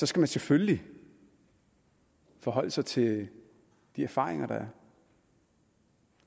skal man selvfølgelig forholde sig til de erfaringer der